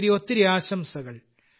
ഒത്തിരി ഒത്തിരി ആശംസകൾ